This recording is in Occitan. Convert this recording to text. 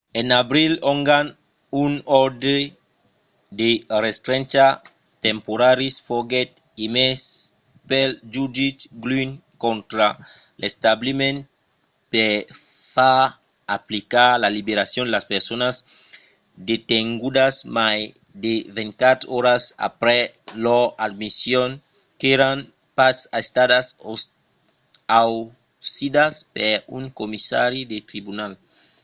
en abril ongan un òrdre de restrencha temporària foguèt emés pel jutge glynn contra l'establiment per far aplicar la liberacion de las personas detengudas mai de 24 oras aprèp lor admission qu'èran pas estadas ausidas per un commissari del tribunal